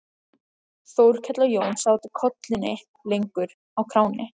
Þórkell og Jón sátu kollunni lengur á kránni.